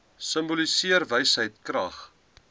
simboliseer wysheid krag